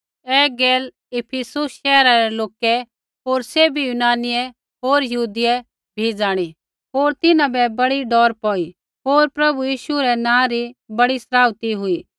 ऐ गैल इफिसुस शैहरा रै लोकै होर सैभी यूनानियै होर यहूदियै भी ज़ाणी होर तिन्हां बै बड़ी डौर पौई होर प्रभु यीशु रै नाँ री बड़ी सराउथी हुई